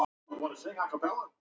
Lási er farinn að geyma.